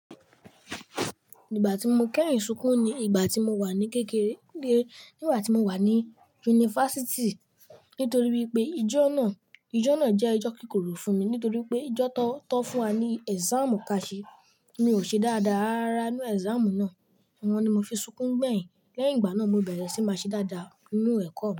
Ìgbà tí mo kẹ́yììn súkún ni ìgbà tí mo wà ní kéke ré. Ígbà tí mo wà ní yunifásítì. Ntorí wípé ijó náà, ijó náà jẹ́ ijó kíkorò fún mi nítorí pé ijó tọ, to fún wa ni ẹ̀sámù ká ṣe. Mi ò ṣe dáadáa rárárara n nú ẹ̀sámù náà. Ọ́un ni mo fi súkún gbẹ̀yìn. Lẹ́yìn ìgbà náà mo bẹ̀rẹ̀ sí máa ṣe dáadáa nínú ẹ̀kọ́ mi.